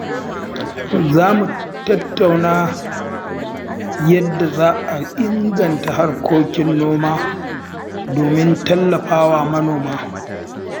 Za mu tattauna yadda za a inganta harkokin noma domin tallafa wa manoma.